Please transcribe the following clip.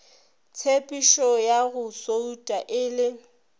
tshepetšoya go souta e le